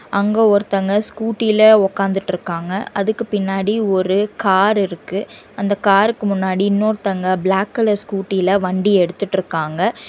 அங்க ஒருத்தங்க ஸ்கூட்டில ஒக்காந்துட்ருக்காங்க அதுக்கு பின்னாடி ஒரு கார் இருக்கு அந்த காருக்கு முன்னாடி இன்னொர்தோங்க பிளாக் கலர் ஸ்கூட்டில வண்டி எடுத்துட்ருக்காங்க.